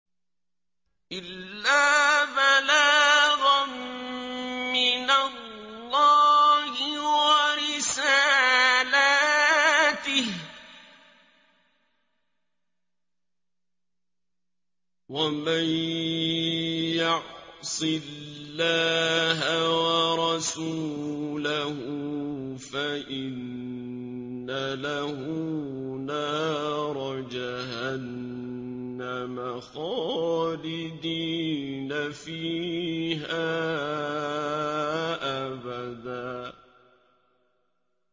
إِلَّا بَلَاغًا مِّنَ اللَّهِ وَرِسَالَاتِهِ ۚ وَمَن يَعْصِ اللَّهَ وَرَسُولَهُ فَإِنَّ لَهُ نَارَ جَهَنَّمَ خَالِدِينَ فِيهَا أَبَدًا